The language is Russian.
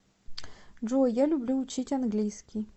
джой я люблю учить английский